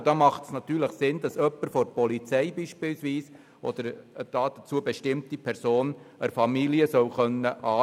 Da macht es natürlich Sinn, wenn jemand von der Polizei oder eine dazu bestimmte Person die Familie anrufen kann.